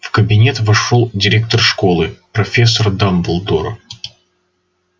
в кабинет вошёл директор школы профессор дамблдор